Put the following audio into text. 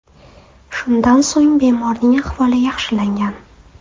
Shundan so‘ng bemorning ahvoli yaxshilangan.